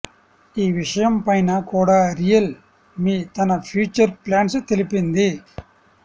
ఈ విషయం పైన కూడా రియల్ మీ తన ఫ్యూచర్ ప్లాన్స్ తెలిపింది